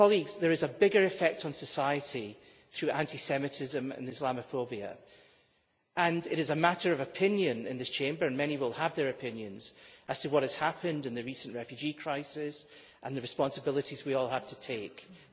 There is a bigger effect on society through anti-Semitism and Islamophobia, and it is a matter of opinion in this Chamber and many will have their opinions as to what has happened in the recent refugee crisis and as to the responsibilities we all have to assume.